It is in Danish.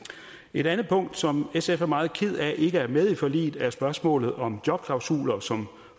et andet punkt som sf er meget kede af ikke er med i forliget er spørgsmålet om jobklausuler som